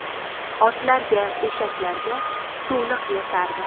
Otlarga, eshaklarga suvliq yasardi.